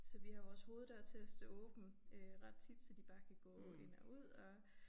Så vi har vores hoveddør til at stå åben øh ret tit så de bare kan gå ind og ud og